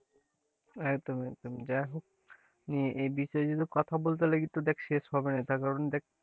একদম একদম এ বিষয়ে কিন্তু কথা বলতে লাগি তো দেখ শেষ হবে না তার কারণ দেখ,